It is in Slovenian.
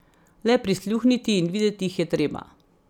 Le prisluhniti in videti jih je treba.